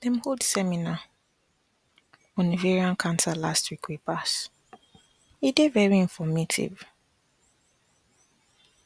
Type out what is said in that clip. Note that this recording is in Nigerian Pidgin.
dem hold seminar on ovarian cancer last week wey pass e dey very informative